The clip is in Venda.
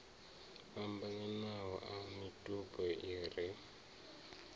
fhambananaho a mitupo i re